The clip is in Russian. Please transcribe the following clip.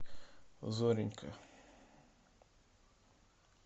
зоренька